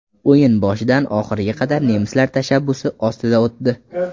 O‘yin boshidan oxiriga qadar nemislar tashabbusi ostida o‘tdi.